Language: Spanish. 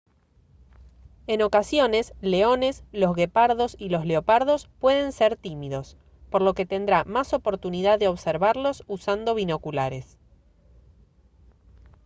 en ocasiones leones los guepardos y los leopardos pueden ser tímidos por lo que tendrá más oportunidad de observarlos usando binoculares